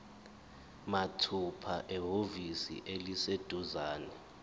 mathupha ehhovisi eliseduzane